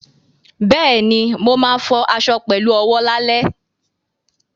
Bẹ́ẹ̀ni, mo ma fọ aṣọ fọ aṣọ pẹ̀lú owó lálẹ́